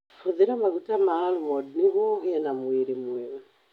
Hũthĩra maguta ma almond nĩguo ũgĩe na mwĩrĩ mwega.